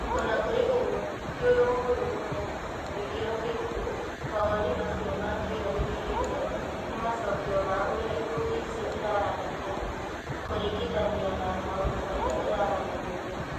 O na kũrĩ ũguo, ti ũndũ mũhũthũ kũmenya, na gĩkĩro kĩrĩkũ mawoni macio ma "kĩyo gĩkĩrĩte" nĩ macokio ma ũrĩa ikundi icio iraranĩria, kĩringithania na maũndũ marĩa iraranagĩria.